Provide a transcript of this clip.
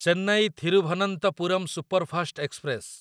Chennai Thiruvananthapuram superfast express